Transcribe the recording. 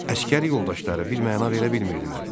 Əsgər yoldaşları birməna verə bilmirdilər.